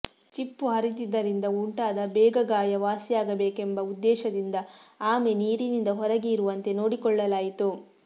ಚಿಪ್ಪು ಹರಿದಿದ್ದರಿಂದ ಉಂಟಾದ ಬೇಗ ಗಾಯ ವಾಸಿಯಾಗಬೇಕೆಂಬ ಉದ್ದೇಶದಿಂದ ಆಮೆ ನೀರಿನಿಂದ ಹೊರಗೆ ಇರುವಂತೆ ನೋಡಿಕೊಳ್ಳಲಾಯಿತು